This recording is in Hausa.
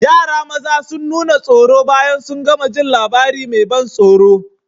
Yara maza sun nuna tsoro bayan sun gama jin labarin mai ban tsoro.